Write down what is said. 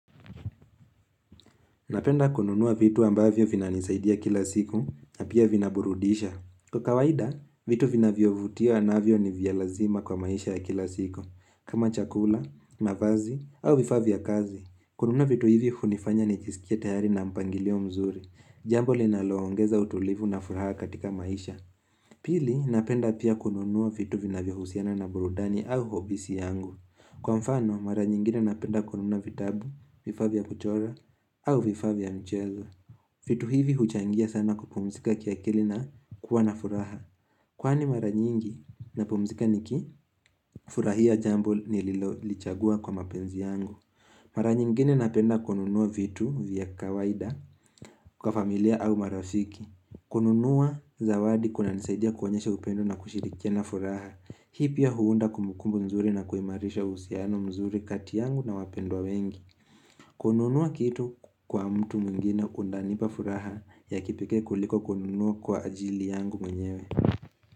Napenda kununua vitu ambavyo vinanisaidia kila siku na pia vina burudisha. Kwa kawaida, vitu vinavyovutia navyo ni vya lazima kwa maisha ya kila siku. Kama chakula, mavazi au vifaa vya kazi, kununuwa vitu hivi hunifanya nijisikie tayari nina mpangilio mzuri. Jambo linaloongeza utulivu na furaha katika maisha. Pili, napenda pia kununua vitu vinavyohusiana na burudani au ofisi yangu. Kwa mfano, mara nyingine napenda kununua vitabu, vifaa vya kuchora, au vifaa vya mchezo. Vitu hivi huchangia sana kupumzika kiakili na kuwa na furaha. Kwani mara nyingi napumzika niki furahia jambo nililolichagua kwa mapenzi yangu. Mara nyingine napenda kununua vitu vya kawaida kwa familia au marafiki. Kununua zawadi kunanisaidia kuonyesha upendo na kushirikiana furaha. Hii pia huunda kumbukumbu nzuri na kuimarisha uhusiano mzuri kati yangu na wapendwa wengi kununua kitu kwa mtu mwingine kunanipa furaha ya kipekee kuliko kununua kwa ajili yangu mwenyewe.